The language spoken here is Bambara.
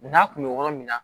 N'a kun bɛ yɔrɔ min na